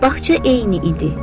Baxça eyni idi.